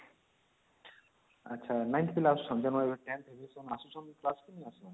ଆଛା 9th ପିଲା ଆସୁଛନ୍ତି ଆମର ଏବେ 10th valuation ଆସୁଛନ୍ତି class କୁ ନାଇଁ ଆସୁଛନ୍ତି